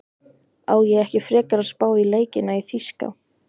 Á ég ekki frekar að spá í leikina í þýska?